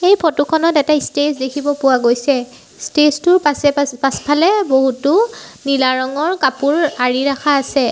এই ফটো খনত এটা ইষ্টেজ দেখিব পোৱা গৈছে ষ্টেজটো টোৰ পাছে-পাছে পাছফালে বহুতো নীলা ৰঙৰ কাপোৰ আৰি ৰাখা আছে।